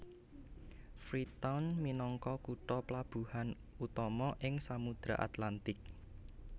Freetown minangka kutha plabuhan utama ing Samudra Atlantik